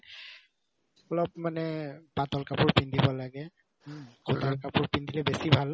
অলপ মানে পাতল কাপোৰ পিন্ধিব লাগে হুম cotton কাপোৰ পিন্ধিলে বেছি ভাল